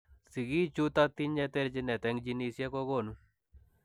Sigichutok tinyee terchineet eng jinisiek kokonuu